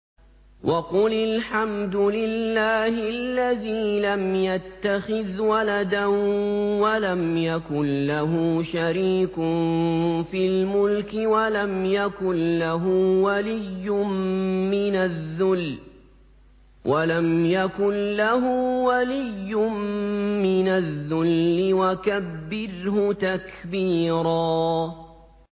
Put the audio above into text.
وَقُلِ الْحَمْدُ لِلَّهِ الَّذِي لَمْ يَتَّخِذْ وَلَدًا وَلَمْ يَكُن لَّهُ شَرِيكٌ فِي الْمُلْكِ وَلَمْ يَكُن لَّهُ وَلِيٌّ مِّنَ الذُّلِّ ۖ وَكَبِّرْهُ تَكْبِيرًا